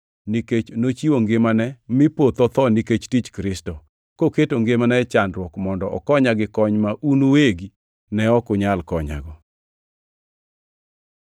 nikech nochiwo ngimane mi poth otho nikech tich Kristo, koketo ngimane e chandruok mondo okonya gi kony ma un uwegi ne ok unyal konyago.